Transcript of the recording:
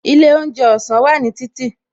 Ilé oúnjẹ ọ̀sán wà ní títì